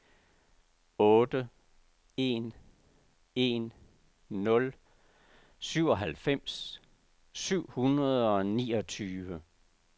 otte en en nul syvoghalvfems syv hundrede og niogtyve